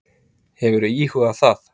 Hefurðu íhugað það?